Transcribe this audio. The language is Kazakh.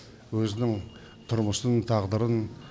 өзінің тұрмысын тағдырын